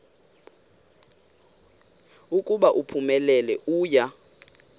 ukuba uphumelele uya